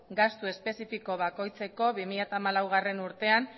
gastu espezifiko bakoitzeko bi mila hamalaugarrena urtean